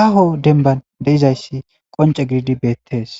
aaho denban deizayssi qonce gididi beettees